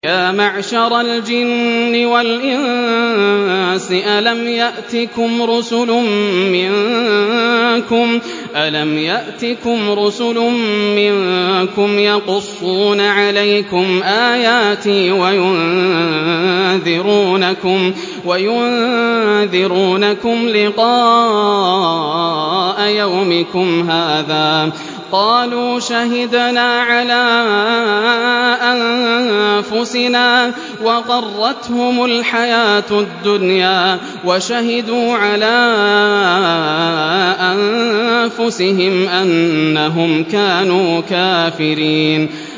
يَا مَعْشَرَ الْجِنِّ وَالْإِنسِ أَلَمْ يَأْتِكُمْ رُسُلٌ مِّنكُمْ يَقُصُّونَ عَلَيْكُمْ آيَاتِي وَيُنذِرُونَكُمْ لِقَاءَ يَوْمِكُمْ هَٰذَا ۚ قَالُوا شَهِدْنَا عَلَىٰ أَنفُسِنَا ۖ وَغَرَّتْهُمُ الْحَيَاةُ الدُّنْيَا وَشَهِدُوا عَلَىٰ أَنفُسِهِمْ أَنَّهُمْ كَانُوا كَافِرِينَ